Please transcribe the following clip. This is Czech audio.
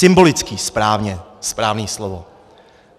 Symbolický, správně, správné slovo.